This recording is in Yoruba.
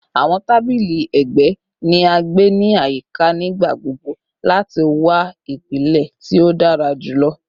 Awọn tabili ẹgbẹ ni a gbe ni ayika nigbagbogbo lati wa ipilẹ ti o dara julọ